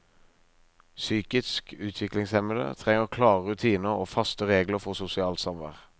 Psykisk utviklingshemmede trenger klare rutiner og faste regler for sosialt samvær.